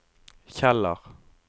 Kjeller